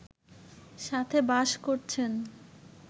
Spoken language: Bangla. সাথে বাস করছেন